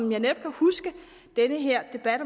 netop huske den her debat